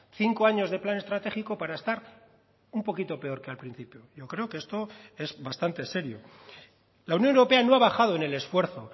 cinco años de plan estratégico para estar un poquito peor que al principio yo creo que esto es bastante serio la unión europea no ha bajado en el esfuerzo